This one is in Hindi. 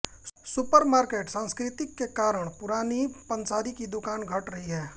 सुपरमार्केट संस्कृति के कारण पुरानी पंसारी की दूकानें घट रही हैं